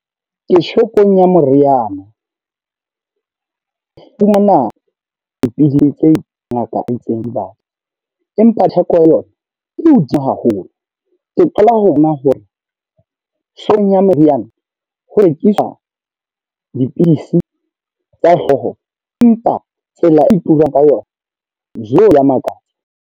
Ke shopong ya moriana. Ke fumana dipidisi tse ngaka e itseng ke dibatle, empa theko ya yona e hodimo haholo. Ke qala ho bona hore shopong ya meriana, ho rekisa dipidisi tsa hlooho. Empa tsela e turang ka yona Jo! Ya makatsa.